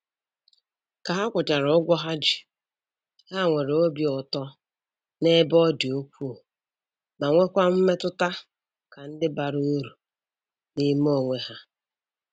Ka ha kwụchara ụgwọ ha ji, ha nwere obi ụtọ n'ebe ọ dị ukwuu ma nwekwa mmetụta ka ndị bara uru n'ime onwe ha